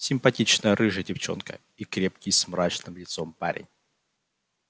симпатичная рыжая девчонка и крепкий с мрачным лицом парень